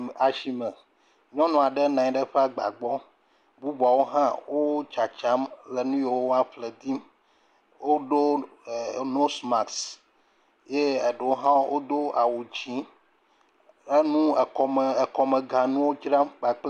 Ame asime nynu aɖe nɔ anyi ɖe eƒe agba gbɔ eye bubuwo hã wo tsatsam le nu yiwo woaƒle dzim. Woɖo nos masiki eye eɖewo hã wodo awu dzi. Enu ekɔme ekɔmeganuwo dzram kpakple